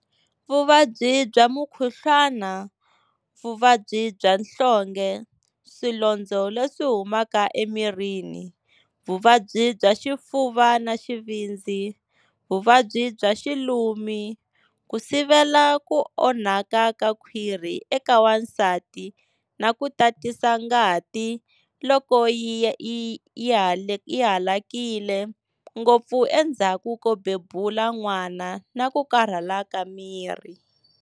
vuvabyi bya mukhuhlwana, vuvabyi bya nhlonge, swilondzo leswi humaka emirini, vuvabyi bya xifuva na xivindzi, vuvabyi bya xilumi, ku sivela ku onhaka ka khwiri eka wansati na ku tatisa ngati loko yi halakile ngopfu endzhaku ko bebula n'wana na ku karhala ka miri.